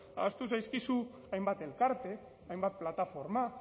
ahaztu zaizkizu hainbat elkarte hainbat plataforma